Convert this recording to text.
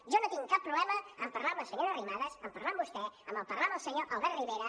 jo no tinc cap problema a parlar amb la senyora arrimadas a parlar amb vostè a parlar amb el senyor albert rivera